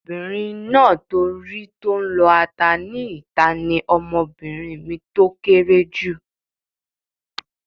Ọmọbìnrin náà tó rí tó n lọ ata ní ìta ní ọmọbìnrin mi tó kéré jù